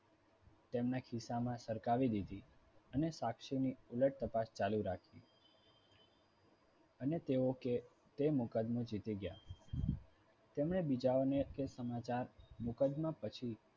તેમના ખિસ્સામાં સરખાવી દીધી અને સાક્ષીની ઉલટ તપાસ ચાલુ રાખી. અને તેઓ કે તે મુકદમો જીતી ગયા તેમણે બીજાઓને કે સમાચાર મુકદમા પછી